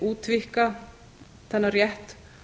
útvíkka þennan rétt